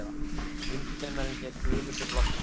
Sundkennarinn hét Guðmundur Loftsson.